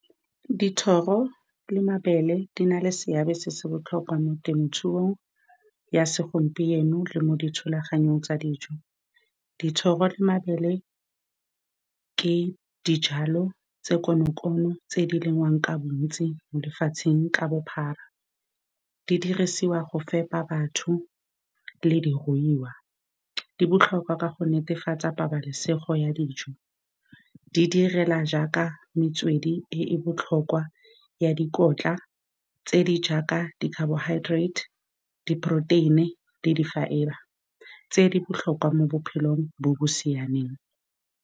Dithoro le mabele di na le seabe se se botlhokwa mo temothuong ya segompieno le mo dithulaganyong tsa dijo. Dithoro le mabele ke dijalo tse konokono tse di lengwang ka bontsi mo lefatsheng ka bophara. Di dirisiwa go fepa batho le diruiwa, di botlhokwa ka go netefatsa pabalesego ya dijo, di direla jaaka metswedi e e botlhokwa ya dikotla tse di jaaka di-carbohydrate-e, di-protein-i le di-fibre tse di botlhokwa mo bophelong bo bo siameng.